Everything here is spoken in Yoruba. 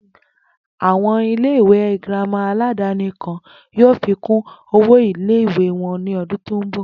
Àwo̩n ilé ìwé girama aládaní kan yóò fí kún owó ilé wo̩n ní o̩dún tó ń bò̩